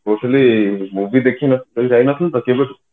କହିଲି movie ଦେଖିବାକୁ ଯାଇ ନଥିଲି ତ କେବେଠୁ